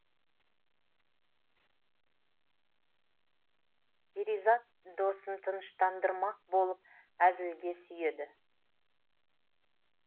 перизат досын тыныштандырмақ болып әзілге сүйеді